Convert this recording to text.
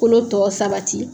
Kolo tɔ sabati